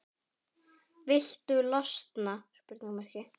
Viltu losna-?